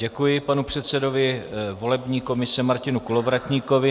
Děkuji panu předsedovi volební komise Martinu Kolovratníkovi.